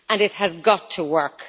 It has got to work.